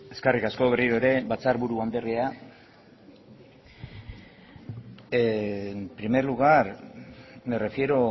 eskerrik asko berriro ere batzarburu andrea en primer lugar me refiero